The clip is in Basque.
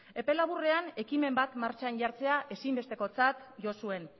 epe laburrean ekimen bat martxan jartzea ezinbestekotzat jo zuen